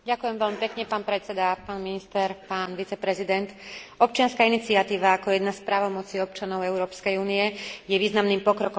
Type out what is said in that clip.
Občianska iniciatíva ako jedna z právomocí občanov Európskej únie je významným pokrokom demokracie a priamej účasti širokej verejnosti na politickom živote.